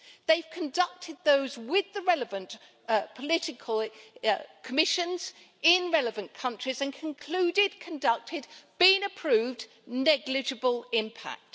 They have conducted those with the relevant political commissions, in relevant countries, and concluded, conducted, been approved, negligible impact.